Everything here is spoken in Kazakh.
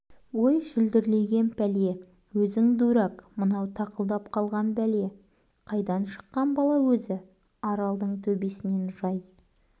ой шүлдірлеген пәле өзің дурак мынау тақылдап қалған пәле қайдан шыққан бала өзі аралдың төбесінен жай